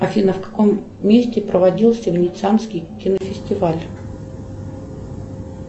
афина в каком месте проводился венецианский кинофестиваль